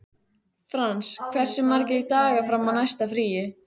Frans, hversu margir dagar fram að næsta fríi?